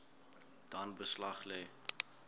dan beslag lê